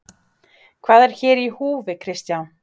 Hvað er hér í húfi Kristján?